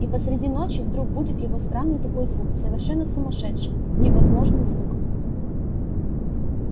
и посреди ночи вдруг будит его странный такой звук совершенно сумасшедший невозможный звук